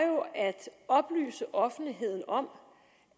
oplyse offentligheden om